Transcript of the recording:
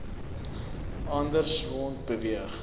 anders rond beweeg